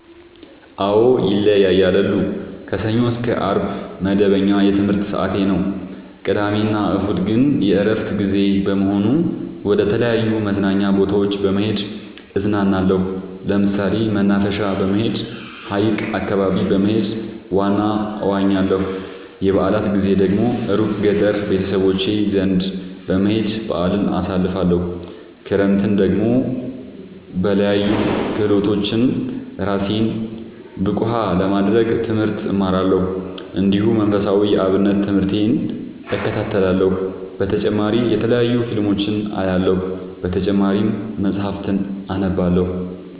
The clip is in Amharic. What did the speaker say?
አዎ ይለያያለሉ። ከሰኞ እስከ አርብ መደበኛ የትምህርት ሰዓቴ ነው። ቅዳሜ እና እሁድ ግን የእረፍት ጊዜ በመሆኑ መደተለያዩ መዝናኛ ቦታዎች በመሄድ እዝናናለሁ። ለምሳሌ መናፈሻ በመሄድ። ሀይቅ አካባቢ በመሄድ ዋና እዋኛለሁ። የበአላት ጊዜ ደግሞ እሩቅ ገጠር ቤተሰቦቼ ዘንዳ በመሄድ በአልን አሳልፍለሁ። ክረምትን ደግሞ በለያዩ ክህሎቶች እራሴን ብቀሐ ለማድረግ ትምህርት እማራለሁ። እንዲሁ መንፈሳዊ የአብነት ትምህርቴን እከታተላለሁ። በተጨማሪ የተለያዩ ፊልሞችን አያለሁ። በተጨማሪም መፀሀፍትን አነባለሁ።